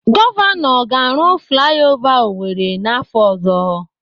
Gọvanọ ga-arụ flai ova Owerri n'afọ ọzọ.